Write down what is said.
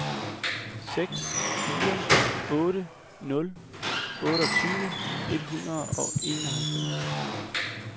seks fire otte nul otteogtyve et hundrede og enoghalvfems